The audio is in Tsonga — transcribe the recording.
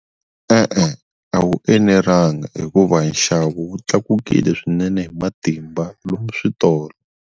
E-e a wu enelanga hikuva nxavo wu tlakukile swinene hi matimba lomu switolo.